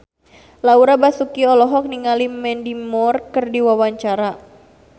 Laura Basuki olohok ningali Mandy Moore keur diwawancara